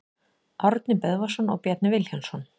Árni Böðvarsson og Bjarni Vilhjálmsson.